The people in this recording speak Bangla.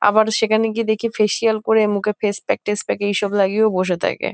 আবার সেখানে গিয়ে দেখি ফেসিয়াল করে মুখে ফেস প্যাক টেস প্যাক এই সব লাগিয়েও বসে থাকে।